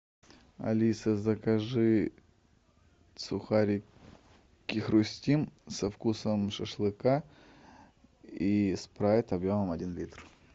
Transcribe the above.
алиса закажи сухарики хрустим со вкусом шашлыка и спрайт объемом один литр